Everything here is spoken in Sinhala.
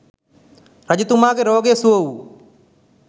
රජතුමාගේ රෝගය සුව වූ